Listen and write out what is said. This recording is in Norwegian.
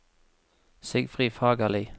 Sigfrid Fagerli